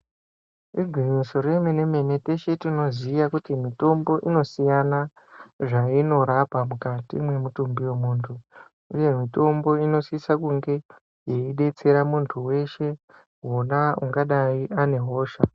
Igwinyiso remene mene teshe tinoziya kuti mitombo inosiyana zvainorapa mukati mwemutumbi wemunthu uye mitombo inosisa kunge yeidetsera munthu weshe wona ungadai ane hosha.